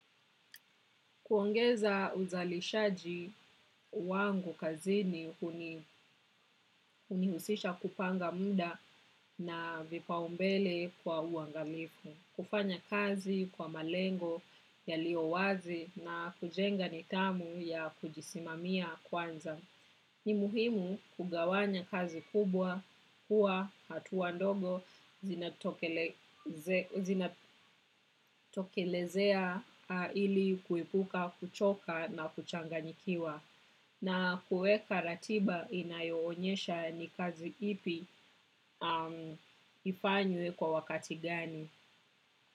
Kuongeza uzalishaji wangu kazini hunihusisha kupanga muda na vipaumbele kwa uangalifu. Kufanya kazi kwa malengo yaliyo wazi na kujenga nidhamu ya kujisimamia kwanza. Ni muhimu kugawanya kazi kubwa kuwa hatua ndogo zinatokelezea ili kuipuka, kuchoka na kuchanganikiwa. Na kuweka ratiba inayoonyesha ni kazi ipi ifanywe kwa wakati gani.